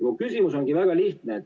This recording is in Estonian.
Mu küsimus on väga lihtne.